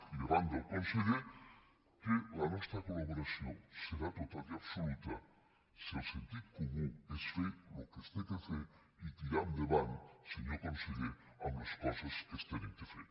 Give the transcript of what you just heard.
i davant del conseller que la nostra col·laboració serà total i absoluta si el sentit comú és fer el que s’ha de fer i tirar endavant senyor conseller amb les coses que s’han de fer